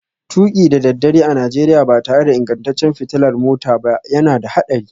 Tuki da daddare a Najeriya ba tare da ingantaccen fitilar mota ba yana da haɗari